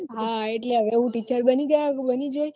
હા હવે હું teacher બની જઈ